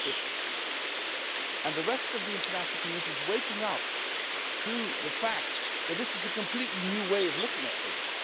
2050. The rest of the international community is waking up to the fact that this is a completely new way of looking at things.